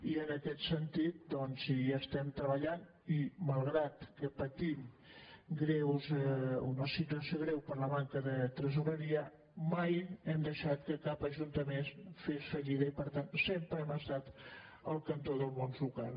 i en aquest sentit doncs hi estem treballant i malgrat que patim una situació greu per la manca de tresoreria mai hem deixat que cap ajuntament fes fallida i per tant sempre hem estat al cantó del món local